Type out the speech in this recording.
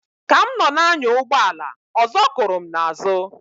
Ka m nọ na-anya ụgbọ ala ọzọ kụrụ m na azu.